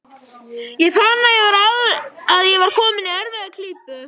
Ég fann að ég var kominn í erfiða klípu.